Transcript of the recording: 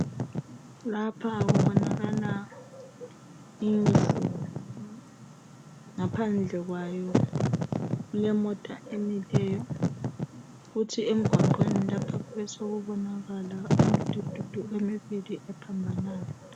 Kubonaka indlu yokuyelaphela izigulani ngaphandle kwayo kulemota emileyo okungaba kungeyokuthwala izigulani kuthi emgwaqeni lapha kube sokubonakala umdududu